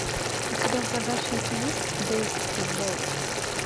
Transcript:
у тебя в загашнике есть бейскетбол